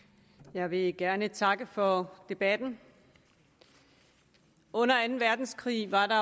jeg vil gerne takke for debatten under anden verdenskrig var der